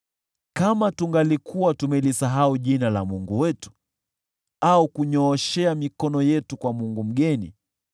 Kama tungalikuwa tumelisahau jina la Mungu wetu au kunyooshea mikono yetu kwa mungu mgeni,